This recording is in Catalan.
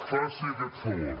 faci aquest favor